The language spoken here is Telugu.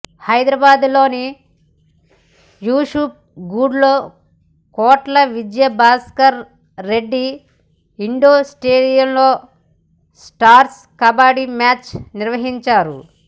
హైదరాబాద్ లోని యూసుఫ్ గూడలో కోట్ల విజయభాస్కర్ రెడ్డి ఇండోర్ స్టేడియం లో స్టార్స్ కబడ్డీ మ్యాచ్ నిర్వహించారు